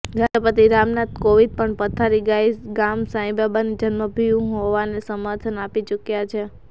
રાષ્ટ્રપતિ રામનાથ કોવિંદ પણ પાથરી ગામ સાંઈબાબાની જન્મભૂમિ હોવાને સમર્થન આપી ચૂક્યા છે